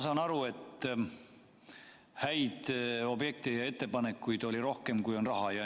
Ma saan aru, et häid objekte ja ettepanekuid oli rohkem, kui on raha.